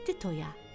Getdi toya.